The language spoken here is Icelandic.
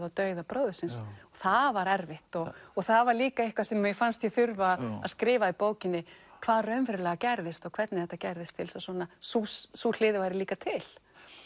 á dauða bróður síns það var erfitt og það var líka eitthvað sem mér fannst ég þurfa að skrifa í bókinni hvað raunverulega gerðist og hvernig þetta gerðist til þess að sú sú hlið væri líka til